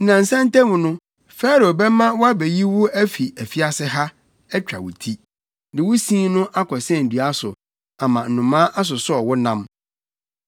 Nnansa ntam no, Farao bɛma wɔabeyi wo afi afiase ha, atwa wo ti, de wo sin no akɔsɛn dua so, ama nnomaa asosɔw wo nam.”